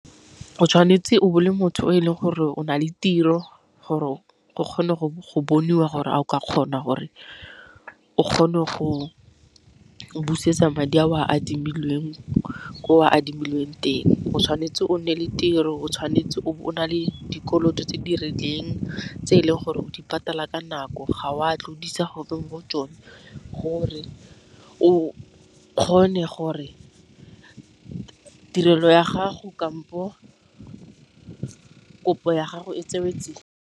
O tshwanetse o be o le motho o e leng gore o na le tiro gore o kgone go boniwa gore a o ka kgona gore o kgone go busetsa madi a o a adimilweng ko o a adimileng teng, o tshwanetse o nne le tiro o tshwanetse o be o na le kolota tse di rileng tse e leng gore o di patala ka nako ga o a tlodisa gope mo tsone gore o kgone gore tirelo ya gago kampo kopo ya gago e tsewe tsia.